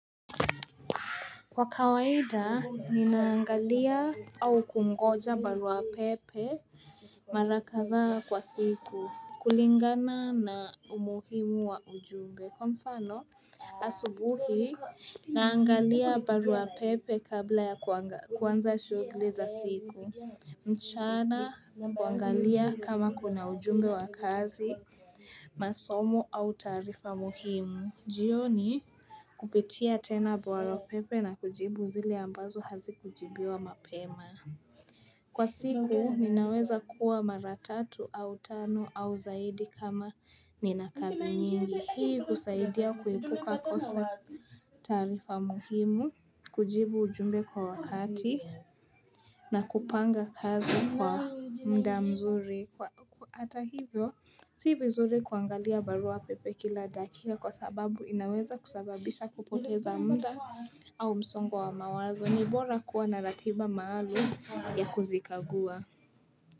Kwa kawaida, ninaangalia au kungoja barua pepe mara kadhaa kwa siku, kulingana na umuhimu wa ujumbe. Kwa mfano, asubuhi, naangalia barua pepe kabla ya kuanza shughuli za siku, mchana kuangalia kama kuna ujumbe wa kazi, masomo au taarifa muhimu. Jioni kupitia tena barua pepe na kujibu zile ambazo hazikujibiwa mapema. Kwa siku ninaweza kuwa mara tatu au tano au zaidi kama nina kazi nyingi. Hii kusaidia kuepuka kosa taarifa muhimu, kujibu ujumbe kwa wakati na kupanga kazi kwa mda mzuri. Atahivyo, si vizuri kuangalia barua pepe kila dakia kwa sababu inaweza kusababisha kupoteza muda. Au msongo wa mawazo ni bora kuwa na ratiba maalum ya kuzikagua.